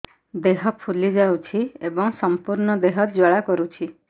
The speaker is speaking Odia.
ଦେହ ଫୁଲି ଯାଉଛି ଏବଂ ସମ୍ପୂର୍ଣ୍ଣ ଦେହ ଜ୍ୱାଳା କରୁଛି